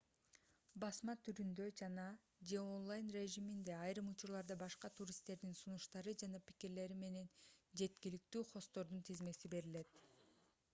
басма түрүндө жана/же онлайн режиминде айрым учурларда башка туристтердин сунуштары жана пикирлери менен жеткиликтүү хосттордун тизмеси берилет